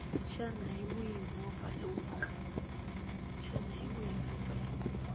xana hi wihi movha lowu